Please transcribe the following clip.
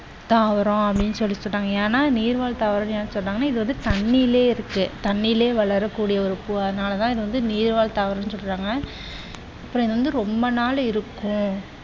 தாவரம் அப்படின்னு சொல்லி சொல்லுவாங்க. ஏன்னா நீர்வாழ் தாவரம் ஏன் சொல்றாங்கன்னா இது தண்ணியிலே இருக்கு தண்ணியிலே வளரக்கூடிய ஒரு பூ. அதனால இது நீர்வாழ் தாவரம் அப்படின்னு சொல்றாங்க. அப்புறம் இது வந்து ரொம்ப நாளை இருக்கும்